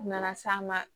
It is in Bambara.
U nana s'an ma